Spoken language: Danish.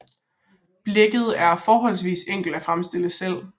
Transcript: Blækket er forholdsvist enkelt at fremstille selv